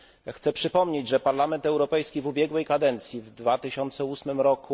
Chcę przypomnieć, że Parlament Europejski w ubiegłej kadencji w 2008 r.